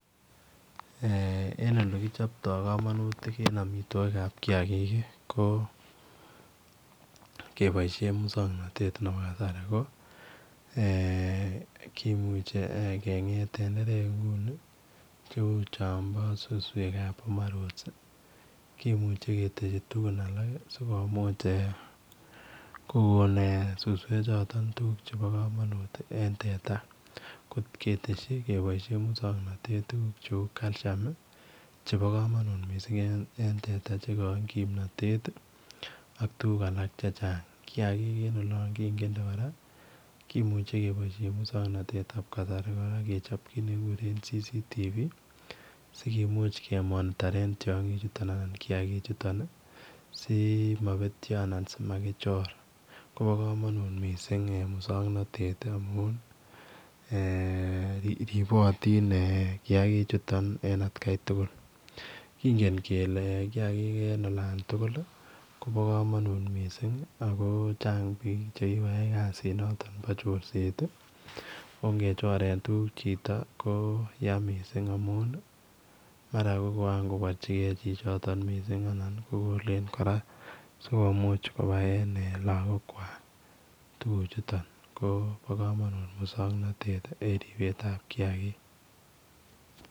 Eng ole kichaptoi kamanutik en amitwagik ab kiagik ii ko kebaishen musannatet nebo kasari ko kimuchei eeh kengeeth tenderek che uu chaambo suswek ab [boma rods] kimuchei ketesyii tugun alaak sikomuuch kogoon eeh suswek chotoon tuguuk chebo kamanut en teta koot ketesyii kobaishen musannatet tuguuk che uu [calcuim] ii chebo kamanut kamanut missing eng teta che kaoin kimnatet ii ak tuguuk alaak che chaang kiagik en olaan kingetnde kora kimuchei kebaishen musannatet ab kasari kora kechaap kiit nekiguren [CCTV] sikimuuch me monitorean kiagik simabetyaa anan simakichoor kobaa kamanut missing eng musanganatet amuun ripotiin kiagik chutoon en at Kai tugul kingen kele kiagik en olaan tugul ii kobo kamanut missing chaang biik chekikoyai kasiit nitoon bo corset ko ngem choreen tuguuk chito ko yaan missing amuun ii mara koan kobarjigei chi chotoon missing anan koleen kora sikomuuch kobateen lagoon kwaak tuguuk chutoon ko bo kamanut musanganatet en ripeet ab kiagik.